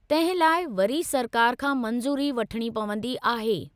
तंहिं लाइ वरी सरकार खां मंजू़री वठिणी पवंदी आहे।